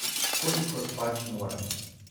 Kolikor pač moremo.